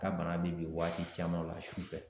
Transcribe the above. Ka bana bɛ bin waati caman la su fɛ.